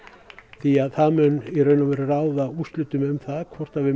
því að það mun í raun og veru ráða úrslitum um það hvort við